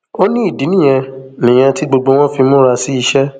ó ní ìdí nìyẹn nìyẹn tí gbogbo wọn fi múra sí iṣẹ